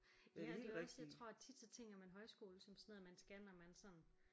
Ja og det er jo også jeg tror at tit så tænker man højskole som sådan noget man skal når man sådan